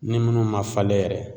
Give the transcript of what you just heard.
Ni minnu man falen yɛrɛ